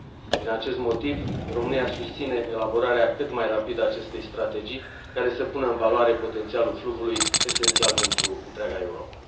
Din acest motiv, România susține elaborarea cât mai rapidă a acestei strategii care să pună în valoare potențialul fluviului, esențial pentru întreaga Europă.